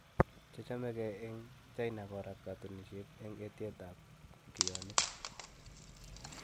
chechomee gee en China korat katunisiet en etiet ap kioinig